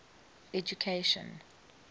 education